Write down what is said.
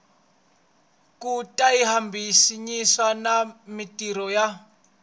ku tihambanyisa na mintirho ya